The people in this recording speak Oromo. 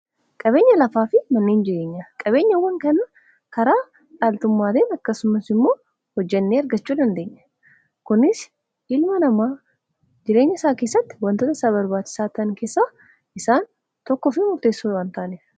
Qabeenya lafaa fi manneen jireenya, qabeenyawwan kan karaa dhaaltummaatin akkasumas immoo hojjannee argachuu dandeenya. kunis ilma namaa jireenya isaa keessatti wantoota isaa barbaachisaan keessa isaan tokkoo fi muteessa waan ta'anidha.